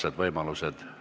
Näeme homme hommikul kell 10.